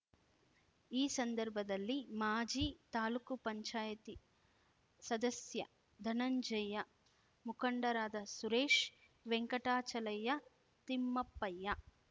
ಈ ಸಂದರ್ಭದಲ್ಲಿ ಮಾಜಿ ತಾಲೂಕುಪಂಚಾಯತಿ ಸದಸ್ಯ ಧನಂಜಯ್ಯ ಮುಖಂಡರಾದ ಸುರೇಶ್ ವೆಂಕಟಾಚಲಯ್ಯ ತಿಮ್ಮಪ್ಪಯ್ಯ